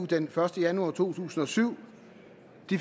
den første januar to tusind og syv